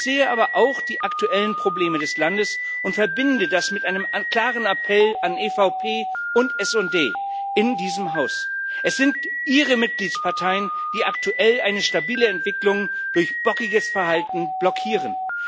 Ich sehe aber auch die aktuellen Probleme des Landes und verbinde das mit einem klaren Appell an EVP und SD in diesem Haus Es sind Ihre Mitgliedsparteien, die aktuell eine stabile Entwicklung durch bockiges Verhalten blockieren.